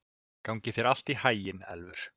Gangi þér allt í haginn, Elfur.